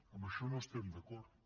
amb això no hi estem d’acord